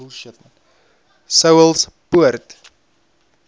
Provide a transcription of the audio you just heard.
saulspoort